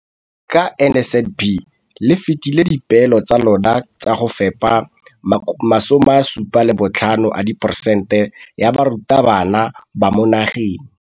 Ka NSNP le fetile dipeelo tsa lona tsa go fepa 75 percent ya barutwana ba mo nageng.